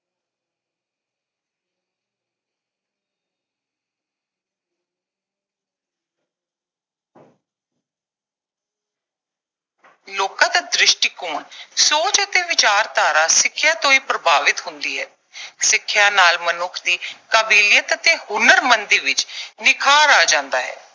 ਲੋਕਾਂ ਦਾ ਦ੍ਰਿਸ਼ਟੀਕੋਣ, ਸੋਚ ਅਤੇ ਵਿਚਾਰਧਾਰਾ ਸਿੱਖਿਆ ਤੋਂ ਹੀ ਪ੍ਰਭਾਵਿਤ ਹੁੰਦੀ ਹੈ। ਸਿੱਖਿਆ ਨਾਲ ਮਨੁੱਖ ਦੀ ਕਾਬਲੀਅਤ ਅਤੇ ਹੁਨਰਮੰਦੀ ਵਿੱਚ ਨਿਖਾਰ ਆ ਜਾਂਦਾ ਹੈ।